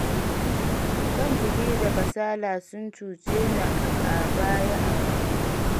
Son jiki da kasala sun cuce ni a baya a rayuwa.